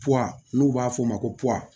n'u b'a f'o ma ko